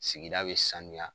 Sigida bɛ sanuya.